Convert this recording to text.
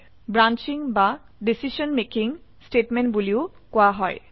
এইটোক ব্ৰাঞ্চিং বা decision making statement বোলিও কোৱা হয়